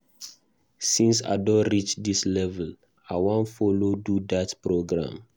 Since I don reach dis level I wan follow do dat program.